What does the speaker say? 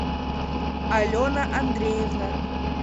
алена андреевна